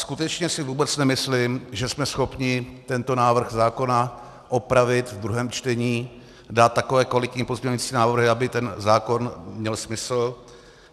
Skutečně si vůbec nemyslím, že jsme schopni tento návrh zákona opravit ve druhém čtení, dát takové kvalitní pozměňující návrhy, aby ten zákon měl smysl.